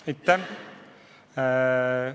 Aitäh!